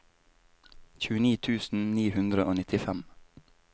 tjueni tusen ni hundre og nittifem